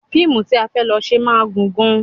Fíìmù tí a fẹ́ lọ ṣe máa gùn gan-an